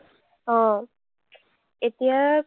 অ, এতিয়া